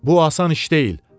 Bu asan iş deyil.